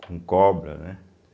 Com cobra, né?